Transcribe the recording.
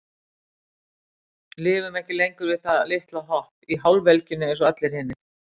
Lifum ekki lengur við það litla hopp, í hálfvelgjunni einsog allir hinir.